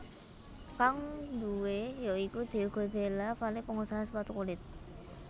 Kang duwé ya iku Diego Della Valle pengusaha sepatu kulit